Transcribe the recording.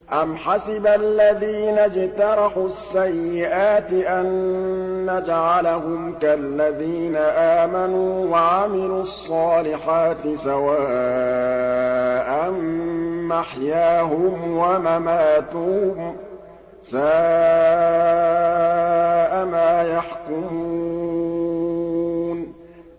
أَمْ حَسِبَ الَّذِينَ اجْتَرَحُوا السَّيِّئَاتِ أَن نَّجْعَلَهُمْ كَالَّذِينَ آمَنُوا وَعَمِلُوا الصَّالِحَاتِ سَوَاءً مَّحْيَاهُمْ وَمَمَاتُهُمْ ۚ سَاءَ مَا يَحْكُمُونَ